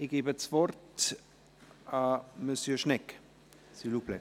Ich gebe das Wort Monsieur Schnegg, s’il vous plaît.